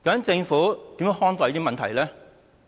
政府如何看待這些問題？